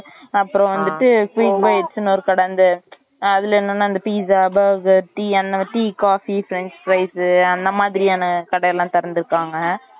அப்புறம் வந்துட்டு sweet bites னு ஒரு கடை இந்த இந்த என்னன்னா pizza burger tea and tea coffee french fries அந்த மாதிரியான கடையல்லாம் திறந்துருக்காங்க